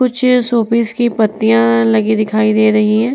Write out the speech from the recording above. कुछ शोपीस की पत्तियाँ लगी दिखाई दे रही हैं।